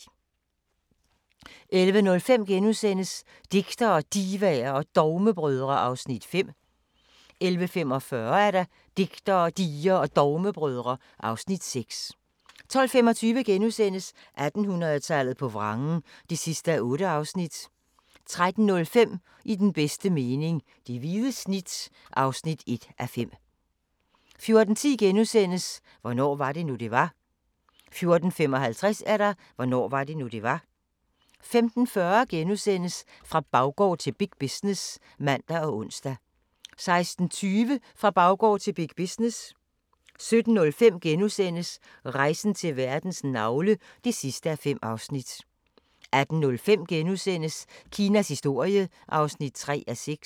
11:05: Digtere, Divaer og Dogmebrødre (Afs. 5)* 11:45: Digtere, Divaer og Dogmebrødre (Afs. 6) 12:25: 1800-tallet på vrangen (8:8)* 13:05: I den bedste mening - det hvide snit (1:5) 14:10: Hvornår var det nu, det var? * 14:55: Hvornår var det nu, det var? 15:40: Fra baggård til big business *(man og ons) 16:20: Fra baggård til big business 17:05: Rejsen til verdens navle (5:5)* 18:05: Kinas historie (3:6)*